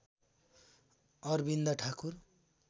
Arvind Thakur